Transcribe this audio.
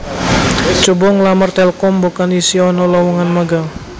Cobo nglamar Telkom mbokan isih ono lowongan magang